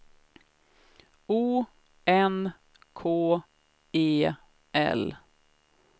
O N K E L